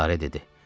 Lara dedi.